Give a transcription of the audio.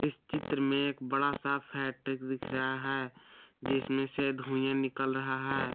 इस चित्र में एक बड़ा सा फैक्ट्रिक दिख रहा है जिसमें से धुइंया निकल रहा है।